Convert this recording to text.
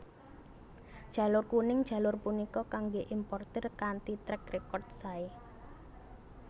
Jalur Kuning jalur punika kangge importir kanthi track record sae